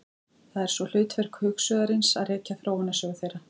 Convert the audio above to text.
Það er svo hlutverk hugsuðarins að rekja þróunarsögu þeirra.